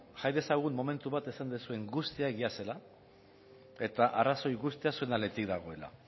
jarri dezagun momentu bat esan duzuen guztia egia zela eta arrazoi guztia zuen aldetik dagoela